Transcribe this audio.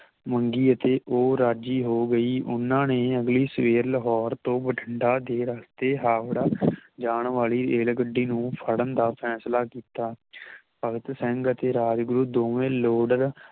ਮੰਗੀ ਅਤੇ ਉਹ ਰਾਜੀ ਹੋ ਗਈ ਉਹਨਾਂ ਨੇ ਅਗਲੀ ਸਵੇਰ ਲਾਹੌਰ ਤੋਂ ਬਠਿੰਡਾ ਦੇ ਰਸਤੇ ਹਾਵੜਾ ਜਾਨ ਵਾਲੀ ਰੇਲਗੱਡੀ ਨੂੰ ਫੜਨ ਨੂੰ ਫੈਸਲਾ ਕੀਤਾ ਭਗਤ ਸਿੰਘ ਅਤੇ ਰਾਜਗੁਰੂ ਦੋਵੇਂ ਲੋਡਰ